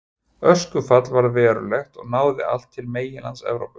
Öskufall varð verulegt og náði allt til meginlands Evrópu.